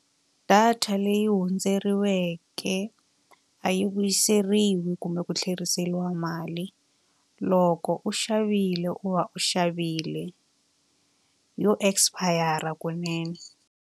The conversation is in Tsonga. Data leyi hundzeriweke a yi vuyiseriwi kumbe ku tlheriseriwa mali. Loko u xavile u va u xavile, yo expire-ra kunene.